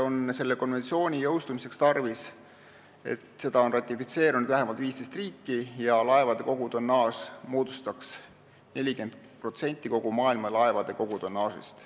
Konventsiooni jõustumiseks on tarvis, et selle oleks ratifitseerinud vähemalt 15 riiki ja laevade kogutonnaaž moodustaks 40% kogu maailma laevade kogutonnaažist.